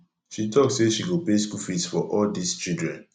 she talk say she go pay school fees for all dis children